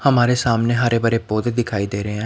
हमारे सामने हरे भरे पौधे दिखाई दे रहे हैं।